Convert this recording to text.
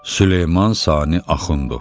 Süleyman Sani Axundov.